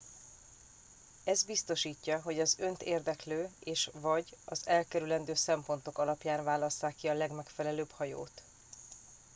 ez biztosítja hogy az önt érdeklő és/vagy az elkerülendő szempontok alapján válasszák ki a legmegfelelőbb hajót